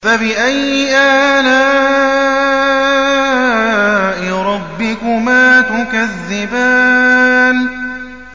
فَبِأَيِّ آلَاءِ رَبِّكُمَا تُكَذِّبَانِ